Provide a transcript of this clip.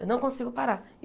Eu não consigo parar.